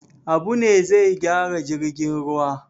Habu ne zai gyara jirgin ruwa.